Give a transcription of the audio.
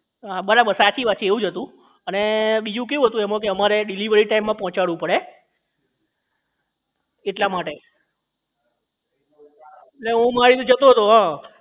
બરાબર છે સાચી વાત છે એવું જ હતું અને બીજું કેવું હતું કે એમાં અમારે delivery time માં પહોંચાડવું પડે એટલા માટે એટલે હું મારી રીતે જતો હતો હા